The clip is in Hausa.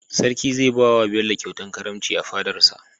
sarki zai bawa bello kyauta karamci a fadarsa